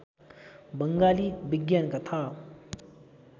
बङ्गाली विज्ञान कथा